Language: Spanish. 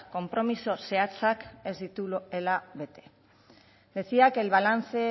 konpromiso zehatzak ez dituela bete decía que el balance